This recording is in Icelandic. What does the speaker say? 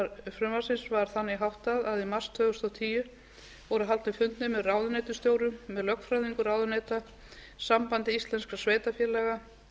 frumvarpsins var þannig háttað að í mars tvö þúsund og tíu voru haldnir fundir með ráðuneytisstjórum með lögfræðingum ráðuneyta sambandi íslenskum sveitarfélaga